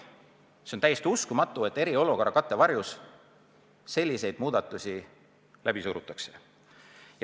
See on täiesti uskumatu, et eriolukorra kattevarjus selliseid muudatusi läbi surutakse.